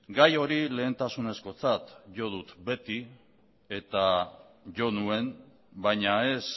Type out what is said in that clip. gai hori lehentasunezkotzat jo dut beti eta jo nuen baina ez